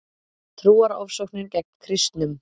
Trúarofsóknir gegn kristnum